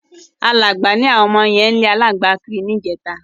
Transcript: Aláǹgbá ni ạwọn ọmọ yẹn ń lẹ́ kiri níjẹta.